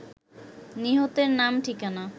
নিহতের নাম ঠিকানা